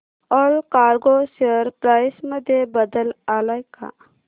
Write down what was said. Allcargo share price मध्ये बदल आलाय का